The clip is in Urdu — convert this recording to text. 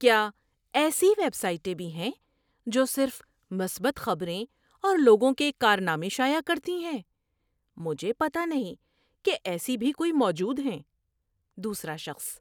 کیا ایسی ویب سائٹیں بھی ہیں جو صرف مثبت خبریں اور لوگوں کے کارنامے شائع کرتی ہیں؟ مجھے پتہ نہیں کہ ایسی بھی کوئی موجود ہیں۔ (دوسرا شخص)